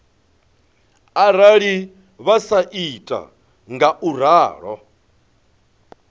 arali vha sa ita ngauralo